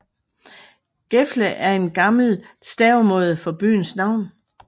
Gefle er en gammel stavemåde for byens navn